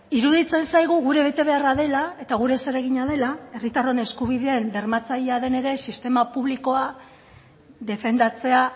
iruditzen zaigu gure betebeharra dela eta gure zeregina dela herritarron eskubideen bermatzailea den ere sistema publikoa defendatzea